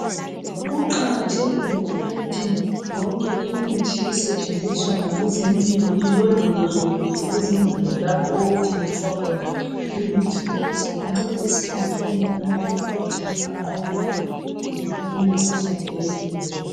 kuqakathekile ukuthi yonke imithi esetshenziswa ngabezempilo ilondolozwe kuhle ezindlini lapho okuthengiswa khna imithi ukuze incedise wonke umuntu emphakathini anqobe le imikhuhlane eyehlukeneyo